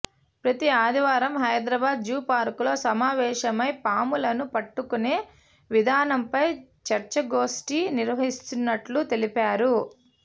ప్రతి ఆదివారం హైదరాబాద్ జూపార్కులో సమావేశమై పాములను పట్టుకునే విధానంపై చర్చాగోష్టి నిర్వహిస్తున్నట్లు తెలిపారు